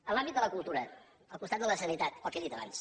en l’àmbit de la cultura al costat de la sanitat el que he dit abans